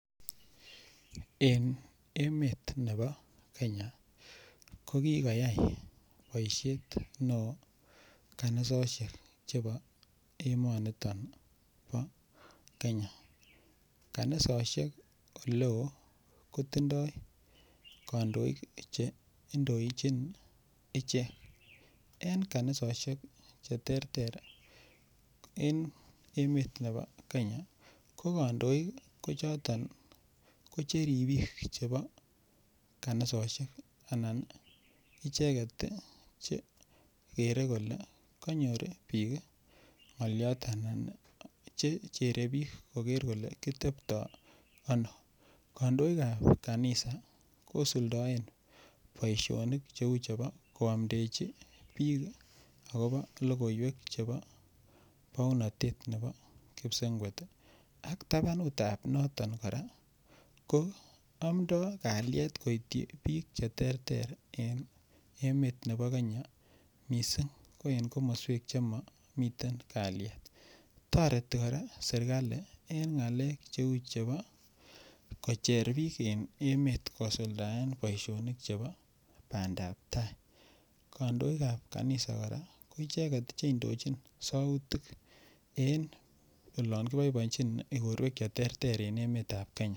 En emet nebo kenya ko kikoyay boishet ne oo kanisoshek chebo emoniton bo kenya kanisoshek ole oo kotindoi kondoik che indochin ichek. En kanisoshek che terter en emet nebo kenya ko kondoik ko choton ko che ribik chebo kanisoshek ana ko icheget Che gere kole konyor biik ngoliot anan kochere biik kole kitepto ano. Kandoikap kanisa kosuldoen boisionik che uu chebo kwomdeji biik logoywek che uu chebo pounotet nebo kipsengwet ak tabanutan noton koraa ko omdo kaliet koityi biik che terter en emet nebo kenya missing ko en komoswek che momiten kalyet toreti koraa serkali en ngalek che uu chebo kocher biik en emet kosuldaen boisionik chebo bandap taa, kandoikap kanisa koraa ko icheget Che indochin soutik olon keboiboienyin igorwek che terter en emetab kenya